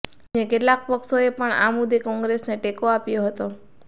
અન્ય કેટલાક પક્ષોએ પણ આ મુદ્દે કોંગ્રેસને ટેકો આપ્યો હતો